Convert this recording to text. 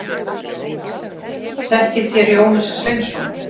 Þekkið þér Jónas Sveinsson?